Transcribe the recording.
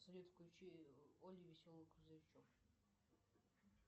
салют включи олли веселый грузовичок